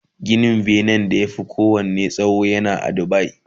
Ginin benen da ya Fi kowanne tsawo yana a Dubai